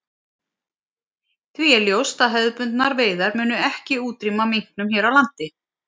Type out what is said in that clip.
Því er ljóst að hefðbundnar veiðar munu ekki útrýma minknum hér á landi.